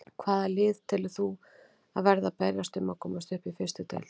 Hvaða lið telur þú að verði að berjast um að komast upp í fyrstu deild?